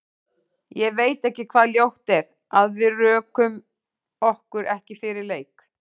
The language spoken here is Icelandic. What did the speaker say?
Ég veit ekki hvað ljótt er, að við rökum okkur ekki fyrir leik?